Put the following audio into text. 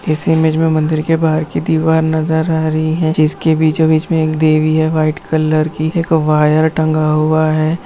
इस इमेज में मंदिर के बाहर की दीवार नजर आ रही है जिसके बीचों-बीच में एक देवी है व्हाइट कलर की एक वायर टंगा हुआ है।